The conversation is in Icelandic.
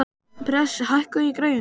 Bresi, hækkaðu í græjunum.